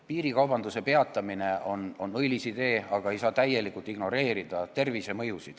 Piirikaubanduse peatamine on õilis idee, aga ei tohi täielikult ignoreerida mõju tervisele.